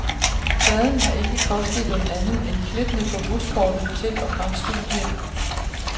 Pladen har ikke kostet dem andet end klippene på buskortet til og fra studiet.